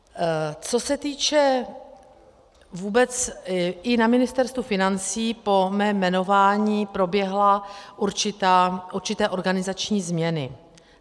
Co se týče vůbec, i na Ministerstvu financí po mém jmenování proběhly určité organizační změny.